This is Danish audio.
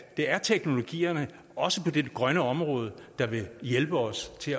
er teknologierne også på det grønne område der vil hjælpe os til